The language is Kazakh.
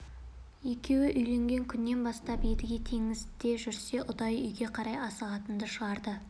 екеуі үйленген күннен бастап едіге теңізде жүрсе ұдайы үйге қарай асығатынды шығарды